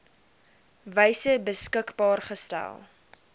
wyse beskikbaar gestel